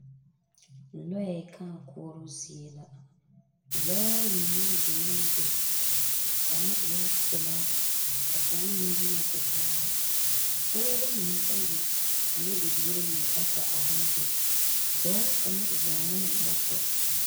Lɔɛ kãã koɔroo zie la. Lɔɛ ayi mine biŋee a be. Kaŋa eɛ pelaa ka kaŋa meŋ yi nyɛ tevaare. pɔgeba mine bayi ane bibiiri mine bata arɛɛ be. dɔɔ kaŋa zɔŋɛɛ moto.